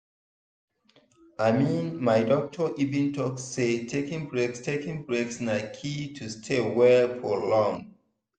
i mean my doctor even talk say taking breaks taking breaks na key to stay well for long.